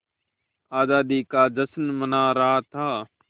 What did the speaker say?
आज़ादी का जश्न मना रहा था